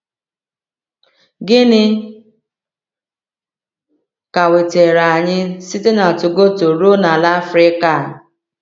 Gịnị ka wetara anyị site na Togoto ruo n’ala Afrịka a?